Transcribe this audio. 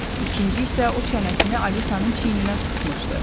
İkinci isə o çənəsini Alisanın çiyninə sıxmışdı.